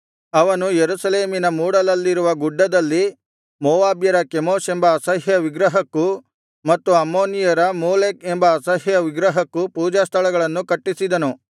ಅವನು ಯೆರೂಸಲೇಮಿನ ಮೂಡಲಲ್ಲಿರುವ ಗುಡ್ಡದಲ್ಲಿ ಮೋವಾಬ್ಯರ ಕೆಮೋಷ್ ಎಂಬ ಅಸಹ್ಯ ವಿಗ್ರಹಕ್ಕೂ ಮತ್ತು ಅಮ್ಮೋನಿಯರ ಮೋಲೆಕ್ ಎಂಬ ಅಸಹ್ಯ ವಿಗ್ರಹಕ್ಕೂ ಪೂಜಾಸ್ಥಳಗಳನ್ನು ಕಟ್ಟಿಸಿದನು